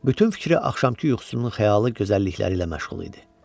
Bütün fikri axşamkı yuxusunun xəyalı gözəllikləri ilə məşğul idi.